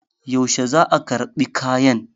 yaushe za a karɓi kayan?